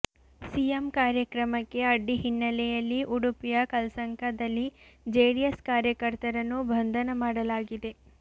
CM ಕಾರ್ಯಕ್ರಮಕ್ಕೆ ಅಡ್ಡಿ ಹಿನ್ನಲೆಯಲ್ಲಿ ಉಡುಪಿಯ ಕಲ್ಸಂಕದಲ್ಲಿ ಜೆಡಿಎಸ್ ಕಾರ್ಯಕರ್ತರನ್ನು ಬಂಧನ ಮಾಡಲಾಗಿದೆ